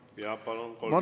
Jaa, palun, kolm minutit!